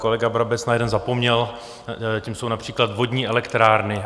Kolega Brabec na jeden zapomněl, tím jsou například vodní elektrárny.